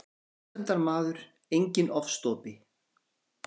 Friðsemdarmaður, enginn ofstopi.